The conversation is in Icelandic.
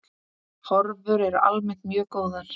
Horfur eru almennt mjög góðar.